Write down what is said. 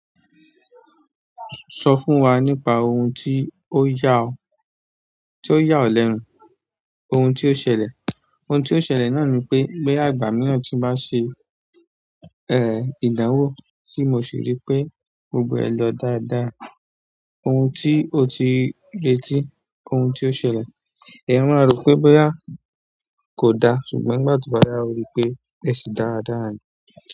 Sọ fún wa nípa ohun tí ó yà ọ, tí ó yà ọ lẹ́nù, ohun tí ó ṣẹlẹ̀. Ohun tí ó ṣẹlẹ̀ náà ni pé, boya ìgbà míran ti n bá ṣe, ìdánwò tí mo sì rí pe gbọgbọ̀ e lọ dáadáa. Ohun tí o ti le tí, ohun tí o ṣẹlẹ̀. Eyan maa ro pe boya kò da ṣùgbọ́n ìgbà tí ó bá yá o rí pé ẹsì dáadáa ni.